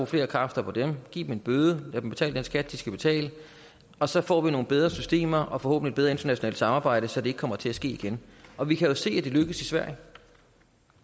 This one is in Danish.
flere kræfter på dem giv dem en bøde lad dem betale den skat de skal betale og så får vi nogle bedre systemer og forhåbentlig et bedre internationalt samarbejde så det ikke kommer til at ske igen og vi kan jo se at det lykkes i sverige